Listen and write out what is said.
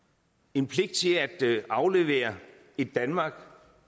en pligt til at aflevere et danmark